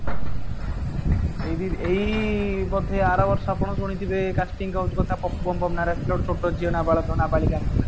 may be ଏଇ ବୋଧେ ଆରବର୍ଷ ଆପଣ ଶୁଣିଥିବେ casting couch କଥା ପପୁ ପମପମ ନା ରେ ଆସିଥିଲା ଗୋଟେ ଛୋଟ ଝିଅ ନା ବାଳକ ନା ବାଳିକା